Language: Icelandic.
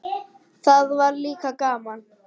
Það var líka gaman.